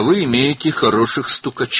Ah, sizin yaxşı xəfiyyələriniz var?